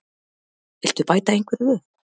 Viltu bæta einhverju við?